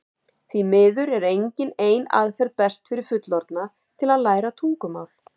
því miður er engin ein aðferð best fyrir fullorðna til að læra tungumál